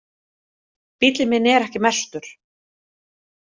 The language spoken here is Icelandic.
Bíllinn minn er ekki merktur.